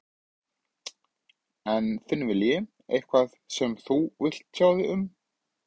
En þinn vilji, eitthvað sem þú vilt tjá þig um?